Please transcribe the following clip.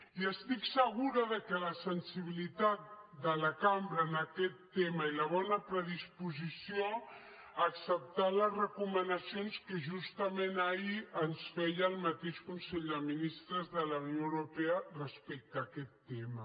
i estic segura de la sensibilitat de la cambra en aquest tema i la bona predisposició a acceptar les recomanacions que justament ahir ens feia el mateix consell de ministres de la unió europea respecte a aquest tema